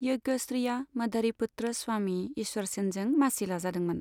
यज्ञ श्रीया मधारीपुत्र स्वामी ईश्वरसेनजों मासि लाजादोंमोन।